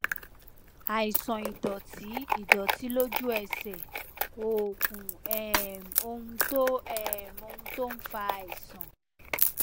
àìsàn ìdòtí ìdòtí lójú ẹsè oògùn um ohun tó um ohun tó ń fa àìsàn